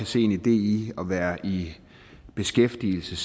se en idé i at være i beskæftigelse